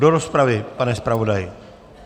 Do rozpravy, pane zpravodaji?